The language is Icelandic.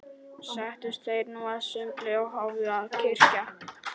Settust þeir nú að sumbli og hófu að kyrja